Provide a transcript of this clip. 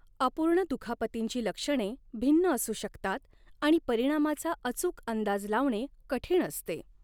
अपूर्ण दुखापतींची लक्षणे भिन्न असू शकतात आणि परिणामाचा अचूक अंदाज लावणे कठीण असते.